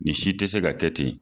Nin si te se ka kɛ ten